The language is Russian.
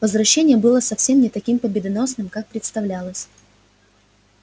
возвращение было совсем не таким победоносным как представлялось